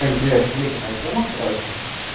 аня привет смотри такая тема короче